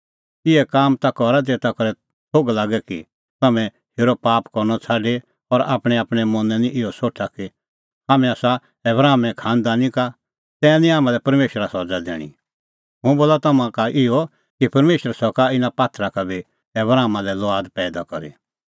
इहै काम ता करा ज़ेता करै थोघ लागे कि तम्हैं हेरअ पाप करनअ छ़ाडी और आपणैंआपणैं मनैं निं इहअ सोठा कि हाम्हैं आसा आबरामे खांनदानी का तै निं हाम्हां लै परमेशरा सज़ा दैणीं हुंह बोला तम्हां का इहअ कि परमेशर सका इना पात्थरा का बी आबरामा लै लुआद पैईदा करी